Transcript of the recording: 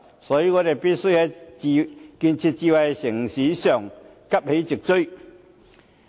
所以，我們必須在建設智慧城市方面急起直追。